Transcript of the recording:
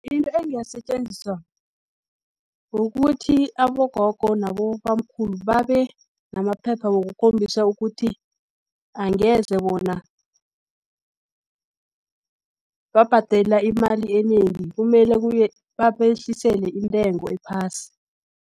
Into engasetjenziswa kukuthi, abogogo nabobamkhulu babenamaphepha wokukhombisa ukuthi, angeze bona babhadela imali enengi, kumele babehlisele intengo ephasi.